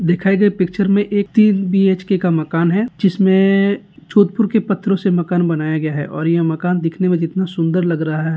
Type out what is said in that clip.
दिखाई गए पिक्चर मे एक तीन का मकान हैं जिसमे जोधपुर के पत्थरों से मकान बनाया गया है और ये मकान दिखने मे जितना सुंदर लग रहा है।